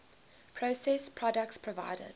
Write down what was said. processed products provided